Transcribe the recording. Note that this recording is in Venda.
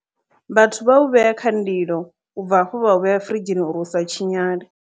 Vhathu vha u vhea kha ndilo ubva hafho vha a vhea furidzhini uri u sa tshinyale.